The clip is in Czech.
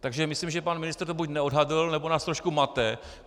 Takže myslím, že pan ministr to buď neodhadl, nebo nás trošku mate.